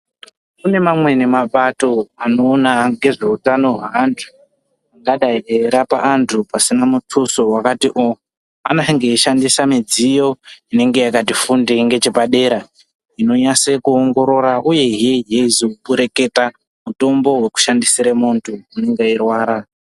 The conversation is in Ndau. Kune mamweni mapato anoona ngezveutano hwevanhu angadai eirapa andu pasinavmutuso wakati oo anenge eshandisa mudziyo inenge yakati fundei ngechepadera inonasa kuongorora uyezve wezopereketa timutombo wekushandisira mundu anenge eirwara.